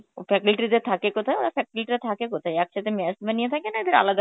ও faculty রা থাকে কোথায়?, ওরা faculty রা থাকে কোথায়? একসাথে mess বানিয়ে থাকে না এদের আলাদা